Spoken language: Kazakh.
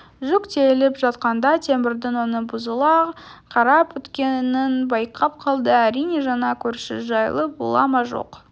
жүк тиеліп жатқанда темірдің өңі бұзыла қарап өткенін байқап қалды әрине жаңа көрші жайлы бола ма жоқ